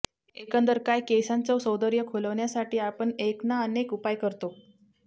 एकंदर काय केसांचं सौंदर्य खुलविण्यासाठी आपण एक ना अनेक उपाय करतो